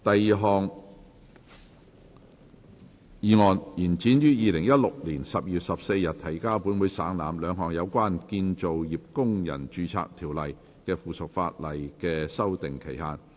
第二項議案：延展於2016年12月14日提交本會省覽，兩項有關《建造業工人註冊條例》的附屬法例的修訂期限。